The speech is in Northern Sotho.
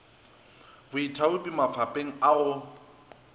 baithaopi mafapeng mafapeng a go